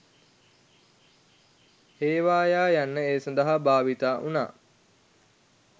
හේවායා යන්න ඒ සඳහා භාවිතා වුණා